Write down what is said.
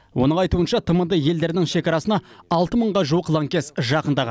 оның айтуынша тмд елдерінің шекарасына алты мыңға жуық лаңкес жақындаған